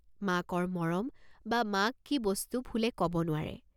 মাকৰ মৰম বা মাক কি বস্তু ফুলে কব নোৱাৰে।